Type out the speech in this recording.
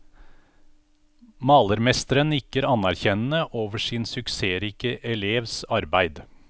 Malermesteren nikker anerkjennende over sin suksessrike elevs arbeid.